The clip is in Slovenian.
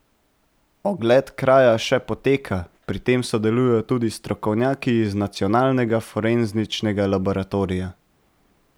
Ogled kraja še poteka, pri tem sodelujejo tudi strokovnjaki iz Nacionalnega forenzičnega laboratorija.